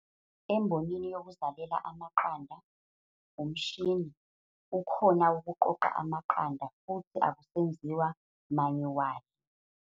Embonini yokuzalela amaqanda, umshini, ukhona wokuqoqa amaqanda, futhi akusenziwa manyuwali.